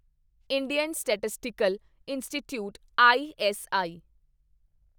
Indian statistical institute ISI